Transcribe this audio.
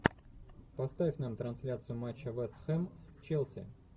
поставь нам трансляцию матча вест хэм с челси